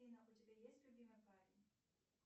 афина у тебя есть любимый парень